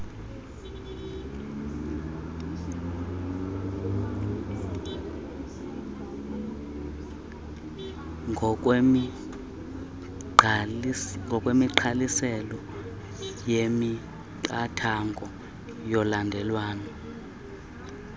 ngokwemigqaliselo yemiqathango yolandelelwano